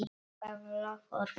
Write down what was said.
Það loforð halt.